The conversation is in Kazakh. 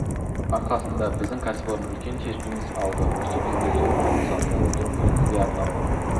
арқасында біздің кәсіпорын үлкен серпіліс алды осы үшін сізге зор алғыс айта отырып өзіңізге арнап